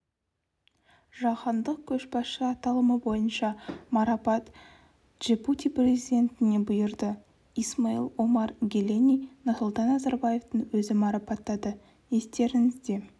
жаһандық көшбасшы аталымы бойынша марапат джибути президентіне бұйырды исмаил омар геллені нұрсұлтан назарбаевтың өзі марапаттады естеріңізде